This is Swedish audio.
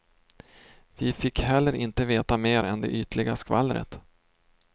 Vi fick heller inte veta mer än det ytliga skvallret.